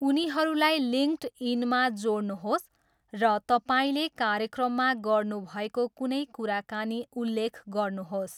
उनीहरूलाई लिङ्क्डइनमा जोड्नुहोस् र तपाईँले कार्यक्रममा गर्नुभएको कुनै कुराकानी उल्लेख गर्नुहोस्।